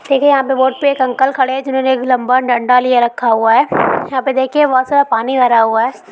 देखिये यहां पर बोट पे एक अंकल खड़े हैं जिन्होंने एक लंबा डंडा लिये रखा हुआ है यहां पे देखीये बहुत सारा पानी भरा हुआ है।